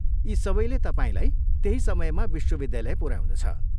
यी सबैले तपाईँलाई त्यही समयमा विश्वविद्यालय पुऱ्याउनेछ।